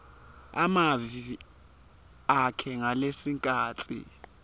emavi akhe ngalesikhatsi